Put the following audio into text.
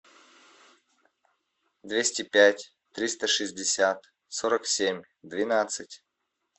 двести пять триста шестьдесят сорок семь двенадцать